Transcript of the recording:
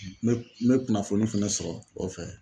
N bɛ n bɛ kunnafoni fɛnɛ sɔrɔ o fɛ